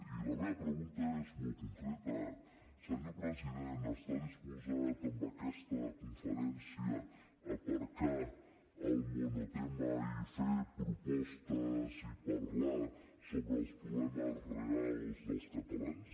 i la meva pregunta és molt concreta senyor president està disposat en aquesta conferència a aparcar el monotema i fer propostes i parlar sobre els problemes reals dels catalans